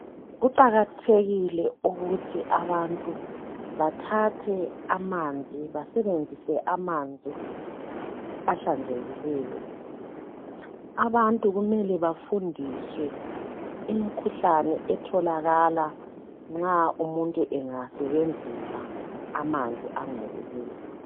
Kuqakathekile ukuthi abantu bathathe amanzi , basebenzise amanzi ahlanzekileyo. Abantu kumele bafundiswe imikhuhlane etholakala nxa umuntu engasebenzisa amanzi angcolileyo.